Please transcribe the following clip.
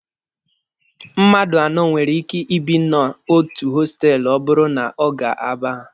Mmadụ anọ nwere ike ibi n'otu hostelụ ọ bụrụ na ọ ga-aba ha.